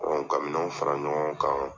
ka minɛn fara ɲɔgɔn kan.